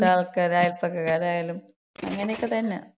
പിന്നെ മറ്റ് ആൾക്കാര്, അയല്പക്കരായാലും അങ്ങനെയാണ്. അങ്ങനെയൊക്കത്തന്ന.